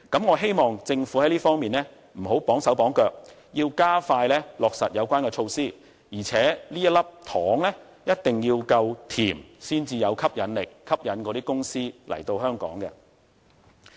我希望政府在這方面不要"綁手綁腳"，要加快落實有關的措施，而且這粒糖一定要夠甜，才有吸引力，能夠吸引那些公司來港。